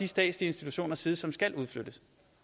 statslige institutioners side som skal udflyttes